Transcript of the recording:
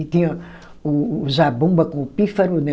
E tinha o o zabumba com o pífaro, né?